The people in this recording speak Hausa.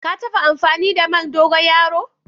Ka tabba amfani da man dogoyaro?